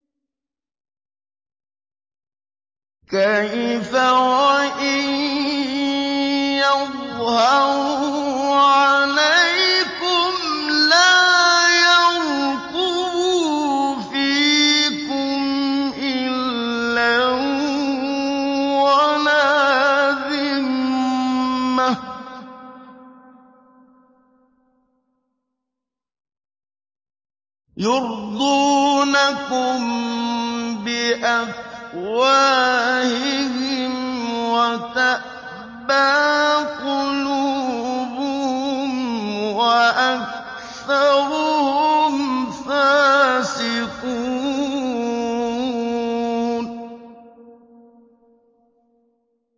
كَيْفَ وَإِن يَظْهَرُوا عَلَيْكُمْ لَا يَرْقُبُوا فِيكُمْ إِلًّا وَلَا ذِمَّةً ۚ يُرْضُونَكُم بِأَفْوَاهِهِمْ وَتَأْبَىٰ قُلُوبُهُمْ وَأَكْثَرُهُمْ فَاسِقُونَ